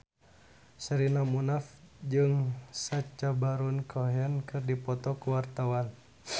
Sherina Munaf jeung Sacha Baron Cohen keur dipoto ku wartawan